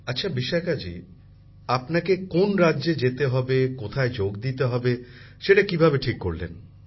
প্রধানমন্ত্রী জীঃ আচ্ছা বিশাখাজী আপনাকে কোন রাজ্যে যেতে হবে কোথায় যোগ দিতে হবে সেটা কীভাবে ঠিক করলেন